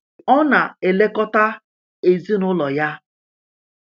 ọ na-elekọta ezinụlọ ya.